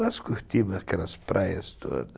Nós curtimos aquelas praias todas.